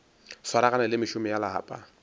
swaragane le mešomo ya lapa